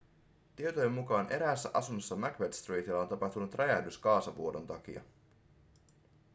tietojen mukaan eräässä asunnossa macbeth streetillä on tapahtunut räjähdys kaasuvuodon takia